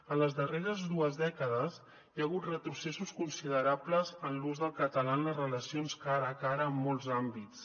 en les darreres dues dècades hi ha hagut retrocessos considerables en l’ús del català en les relacions cara a cara en molts àmbits